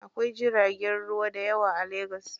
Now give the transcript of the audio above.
Akwai jiragen ruwa dayawa a legas.